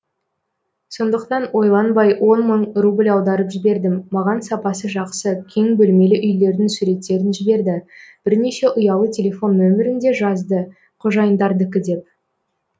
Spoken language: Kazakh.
сондықтан ойланбай он мың рубль аударып жібердім маған сапасы жақсы кең бөлмелі үйлердің суреттерін жіберді бірнеше ұялы телефон нөмірін де жазды қожайындардікі деп